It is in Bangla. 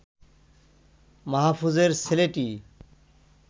মাহফুজের ছেলেটি